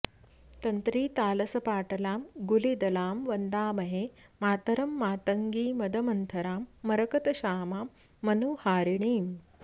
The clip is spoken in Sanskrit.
तन्त्रीतालसपाटलां गुलिदलां वन्दामहे मातरं मातङ्गीं मदमन्थरां मरकतश्यामां मनोहारिणीम्